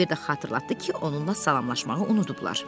İa bir də xatırlatdı ki, onunla salamlaşmağı unudublar.